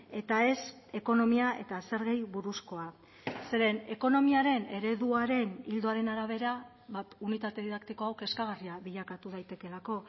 eta ez ekonomia eta zergei buruzkoa zeren ekonomiaren ereduaren ildoaren arabera unitate didaktiko hau kezkagarria bilakatu daitekeelako